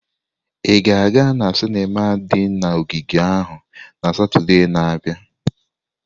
Ị ga-aga na sinima di na ogige ahụ na Satọde na-abịa?